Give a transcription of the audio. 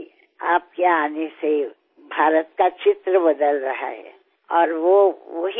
మీ రాక వల్ల భారతదేశం ముఖచిత్రమే మారిపోతోంది